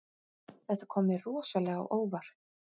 Þetta kom mér rosalega á óvart